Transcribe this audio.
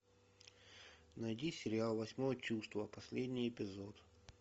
найди сериал восьмое чувство последний эпизод